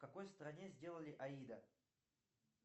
в какой стране сделали аида